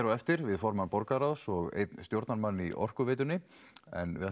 á eftir við formann borgarráðs og einn stjórnarmann í Orkuveitunni en við